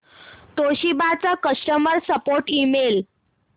Toshiba चा customer support email